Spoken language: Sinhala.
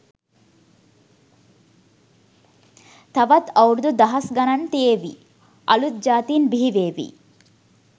තවත් අවුරුදු දහස් ගණන් තියේවි.අලුත් ජාතීන් බිහි වේවි